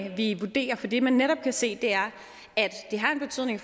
vi vurderer for det man netop kan se er at det har en betydning